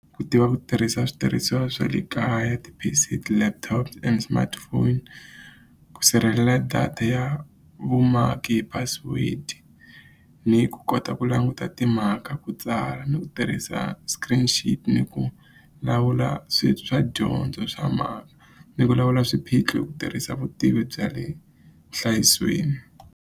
Ku tiva ku tirhisa switirhisiwa swa le kaya ti-P_C ti-laptop and smartphone ku sirhelela data ya vumaki hi password ni ku kota ku languta timhaka ku tsala ni ku tirhisa screen ni ku lawula swi swa dyondzo swa ni vulavula swiphiqo hi ku tirhisa vutivi bya le vuhlayisweni.